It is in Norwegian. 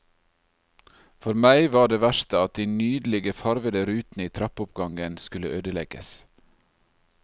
For meg var det verste at de nydelige, farvede rutene i trappeoppgangen skulle ødelegges.